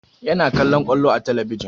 Yana kallon ƙwallo a talabijin